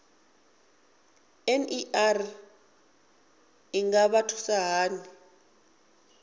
ner i nga vha thusa hani